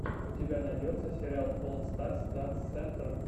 у тебя найдется сериал олл старс данс сентр